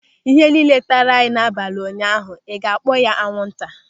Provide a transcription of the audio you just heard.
Ịhe niile taara anyị n'abalị ụnyaahụ, ịga kpọọ ya anwụnta?